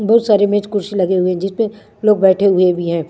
बहुत सारे मेज कुर्सी लगे हुए हैं जिसपे लोग बैठे हुए भी हैं।